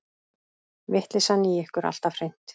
Vitleysan í ykkur alltaf hreint.